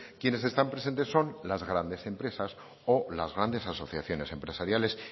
quienes están presentes son las grandes empresas o las grandes asociaciones empresariales